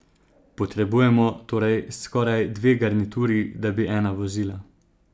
Potrebujemo torej skoraj dve garnituri, da bi ena vozila.